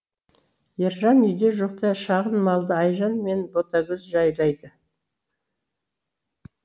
ержан үйде жоқта шағын малды айжан мен ботагөз жайлайды